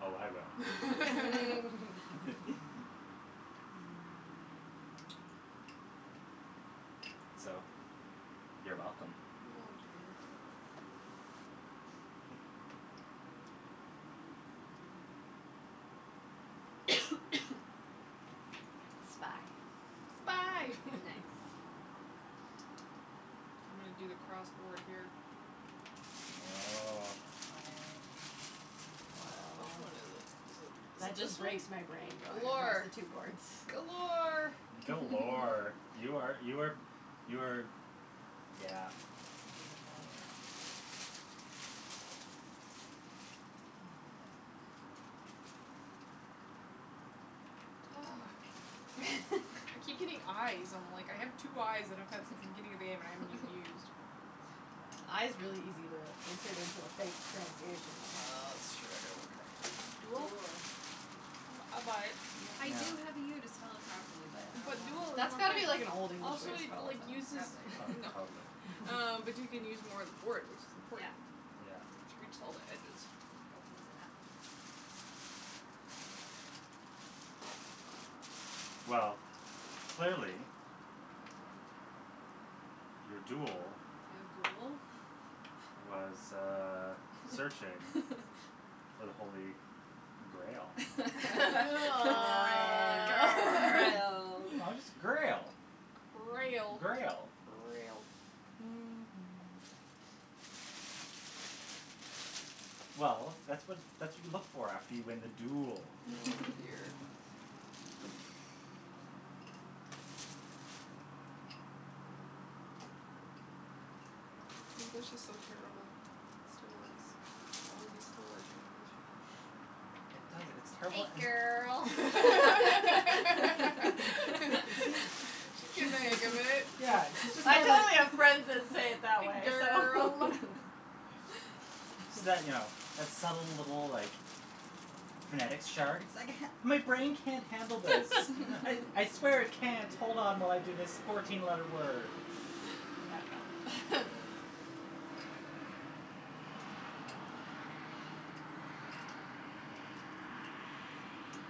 Oh, I will. Mm. So, you're welcome. Oh, dear. Spy. Spy. Mm. Nice. I'm gonna do the cross board here. Oh. Go for it. Wh- which Woah. one is it? Is it is That it this just one? breaks my brain going across Galore. the two boards. Galore. Galore. You are you are you are yeah, Beautiful. yeah. Ah. I keep getting i's. I'm, like, I have two i's that I've had since the beginning of the game that I haven't even used. I is really easy to insert into a fake pronunciation, though. That's true. I gotta work harder. Duel? Duel. I bu- I buy it. I Yeah. do have the u to spell it properly, but I But duel don't is That's more got to fun. be wanna. like an Old English way Also, to it spell like it, uses though. Probably. Oh, No, totally. um, but you can use more of the board, which is Yeah. important. Yeah. To reach all the edges. Opens it up. Well, clearly your duel was, uh, searching for the holy grail. Oh. Grail. No, just grail. Grail. Grail. Grail. Mhm. Well, that's what that's what you look for after you win the duel. Oh, dear. English is so terrible. It still works. All of these still work in English. It does, it's Hey, terrible and girl. You see, She's getting she's the hang of it. Yeah, she's just I kind of totally have friends that say it that way, so Girl. So you know, that subtle little, like, phonetics chart. My brain can't handle this. I I swear it can't hold on while I do this fourteen letter word. Yeah, no.